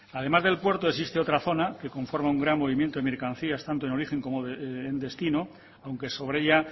además del puerto existe otra zona que conforma un gran movimiento de mercancías tanto en origen como en destino aunque sobre ella